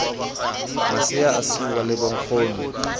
masea a siiwa le bonkgono